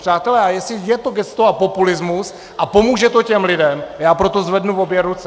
Přátelé, a jestli je to gesto a populismus a pomůže to těm lidem, já pro to zvednu obě ruce.